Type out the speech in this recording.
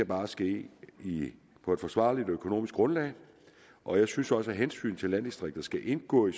bare ske på et forsvarligt økonomisk grundlag og jeg synes også at hensynet til landdistrikter skal indgå i